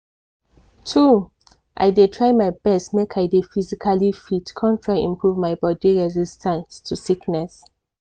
true! i dey try my best make i dey physically fit con try improve my body resistance to sickness.